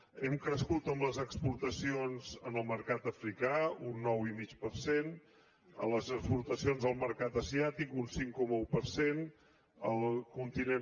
hem crescut en les exportacions al mercat africà un nou i mig per cent en les exportacions al mercat asiàtic un cinc coma un per cent al continent